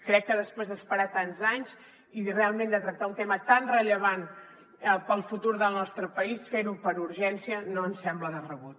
crec que després d’esperar tants anys i realment de tractar un tema tan rellevant per al futur del nostre país fer ho per urgència no ens sembla de rebut